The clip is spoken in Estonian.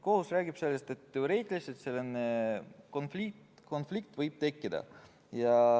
" Kohus räägib sellest, et teoreetiliselt võib selline konflikt tekkida.